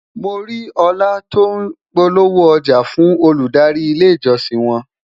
mọ rí òla tó n polówó ọja fún Olùdarí ilé ìjósìn won